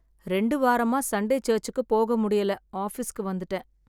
ரெண்டு வாரமா சண்டே சர்ச்சுக்கு போக முடியல ஆஃபீஸ்க்கு வந்துட்டேன்.